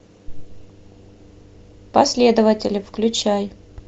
последователи включай